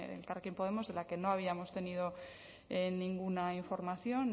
elkarrekin podemos de la que no habíamos tenido ninguna información